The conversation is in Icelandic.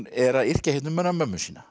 er að yrkja um hana mömmu sína